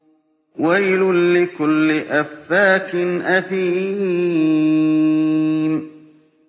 وَيْلٌ لِّكُلِّ أَفَّاكٍ أَثِيمٍ